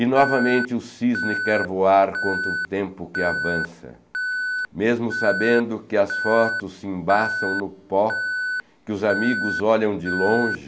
E novamente o cisne quer voar quanto o tempo que avança, mesmo sabendo que as fotos se embaçam no pó, que os amigos olham de longe,